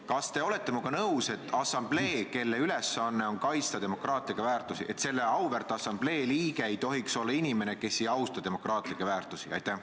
Kas te olete minuga nõus, et selle assamblee liikmeks, mille ülesanne on kaitsta demokraatlikke väärtusi, ei tohiks olla inimene, kes ei austa demokraatlikke väärtusi?